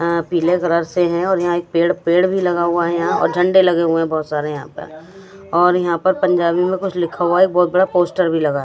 अ पीले कलर से हैं और यहाँ एक पेड़ पेड़ भी लगा हुआ है यहाँ और झंडे लगे हुए हैं यहाँ बहुत सारे यहाँ पे और यहाँ पर पंजाबी में कुछ लिखा हुआ है एक बहुत बड़ा पोस्टर भी लगा --